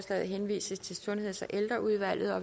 altså smører så at